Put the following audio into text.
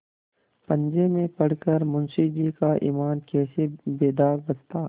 पंजे में पड़ कर मुंशीजी का ईमान कैसे बेदाग बचता